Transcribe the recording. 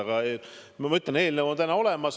Aga ma ütlen, et eelnõu on täna olemas.